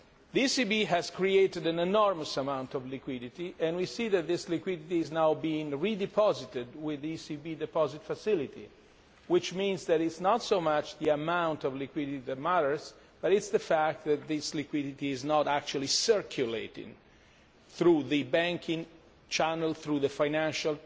The ECB has created an enormous amount of liquidity and we see that this liquidity is now being redeposited with the ECB deposit facility, which means that it is not so much the amount of liquidity that matters, but it is the fact that this liquidity is not actually circulating through the banking channel, through the financial